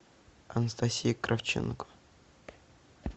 анастасия кравченко